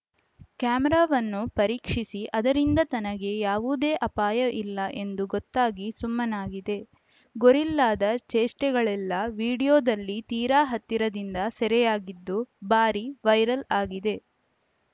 ಕ್ಯಾಮರಾವನ್ನು ಪರೀಕ್ಷಿಸಿ ಅದರಿಂದ ತನಗೆ ಯವುದೇ ಅಪಾಯ ಇಲ್ಲ ಎಂದು ಗೊತ್ತಾಗಿ ಸುಮ್ಮನಾಗಿದೆ ಗೋರಿಲ್ಲಾದ ಚೇಷ್ಟೆಗಳೆಲ್ಲಾ ವಿಡಿಯೋದಲ್ಲಿ ತೀರಾ ಹತ್ತಿರದಿಂದ ಸೆರೆಯಾಗಿದ್ದು ಭಾರೀ ವೈರಲ್‌ ಆಗಿದೆ